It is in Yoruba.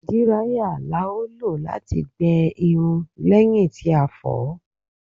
Díráíyà la lò láti gbẹ irun lẹ́yìn tí a fọ̀ọ́.